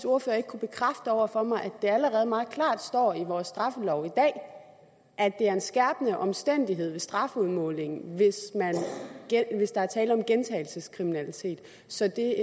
ordfører ikke kunne bekræfte over for mig at det allerede meget klart står i vores straffelov i dag at det er en skærpende omstændighed ved strafudmålingen hvis hvis der er tale om gentagelseskriminalitet så det